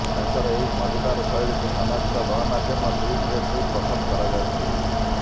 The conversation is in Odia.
ତାଙ୍କର ଏହି ମଜାଦାର ଶୈଳୀକୁ ସାମାଜିକ ଗଣମାଧ୍ୟମ ଟ୍ବିଟ୍ରେ ଖୁବ୍ ପସନ୍ଦ କରାଯାଉଛି